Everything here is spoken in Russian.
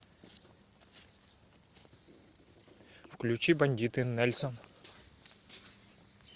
включи бандиты нельсон